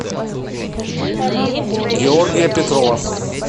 георгия петрова